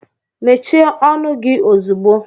Mechie ọnụ gị ozugbo!